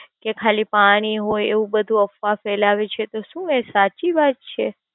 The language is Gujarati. એ ખાલી પાણી હોઈ. એવું બધું અફવા ફેલાવે છે. તો શું એ સાચી વાત છે?